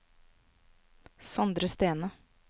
Sondre Stene